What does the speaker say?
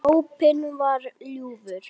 Sopinn var ljúfur.